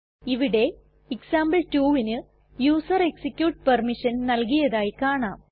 ഇവിടെ example2ന് user execute permission നൽകിയതായി കാണാം